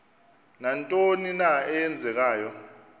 nantoni na eenzekayo